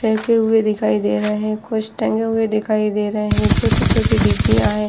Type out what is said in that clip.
पहखे हुए दिखाई दे रहे हैं कुछ टंगे हुए दिखाई दे रहे हैं छोटी-छोटी डिब्बियां हैं।